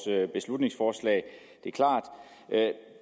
beslutningsforslag